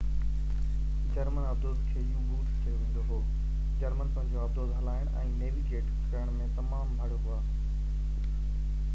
German آبدوز کي U-boats چيو ويندو هو جرمن پنهنجيون آبدوزون هلائڻ ۽ نيويگيٽ ڪرڻ ۾ تمام ڀَڙ هئا